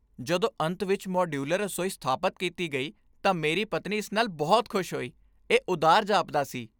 ਜਦੋਂ ਅੰਤ ਵਿੱਚ ਮਾਡਯੂਲਰ ਰਸੋਈ ਸਥਾਪਤ ਕੀਤੀ ਗਈ ਤਾਂ ਮੇਰੀ ਪਤਨੀ ਇਸ ਨਾਲ ਬਹੁਤ ਖ਼ੁਸ਼ ਹੋਈ। ਇਹ ਉਦਾਰ ਜਾਪਦਾ ਸੀ!